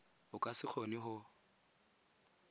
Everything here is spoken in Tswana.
o ka se kgone go